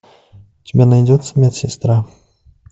у тебя найдется медсестра